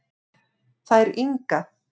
Þær Inga